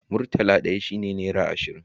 Murtala ɗaya shi ne nera ashirin